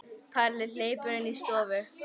Palli hleypur inn í stofu.